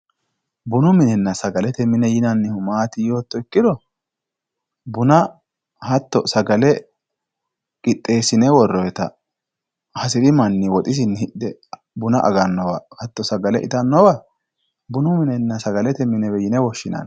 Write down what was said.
bunu minenna sagalete mine yinannihu maati yootto ikkiro buna hatto sagale qixeessine worroonnita hasiri manni woxisinni hidhe hatto buna agannowanna sagale itannowa bunu minenna sagalete mine yinewe woshshinani.